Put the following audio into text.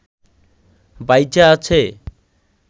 বাইচা আছে